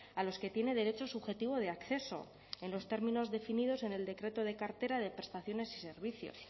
a los que tiene derecho subjetivo de acceso en los términos definidos en el decreto de cartera de prestaciones y servicios